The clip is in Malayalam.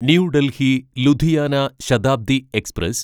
new Delhi Ludhiana Shatabdi express